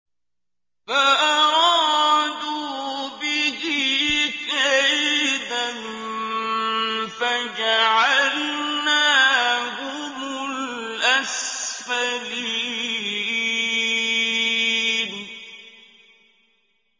فَأَرَادُوا بِهِ كَيْدًا فَجَعَلْنَاهُمُ الْأَسْفَلِينَ